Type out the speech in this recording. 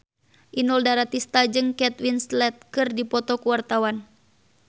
Inul Daratista jeung Kate Winslet keur dipoto ku wartawan